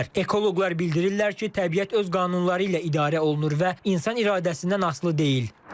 Ekoloqlar bildirirlər ki, təbiət öz qanunları ilə idarə olunur və insan iradəsindən asılı deyil.